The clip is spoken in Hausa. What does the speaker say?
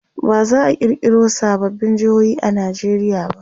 baza'a kirkiro sababbin jehohi a Nigeria ba